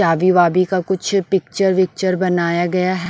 चाबी वाबी का कुछ पिक्चर विक्चर बनाया गया है ।